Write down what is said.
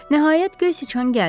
Nəhayət, göy siçan gəldi.